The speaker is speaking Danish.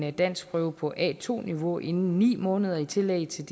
en danskprøve på a2 niveau inden ni måneder i tillæg til